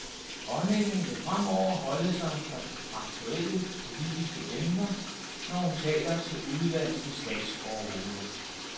Dronningen vil fremover holde sig fra aktuelle politiske emner, når hun taler til udenlandske statsoverhoveder.